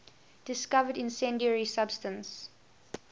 discovered incendiary substance